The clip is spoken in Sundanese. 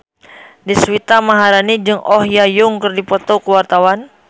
Deswita Maharani jeung Oh Ha Young keur dipoto ku wartawan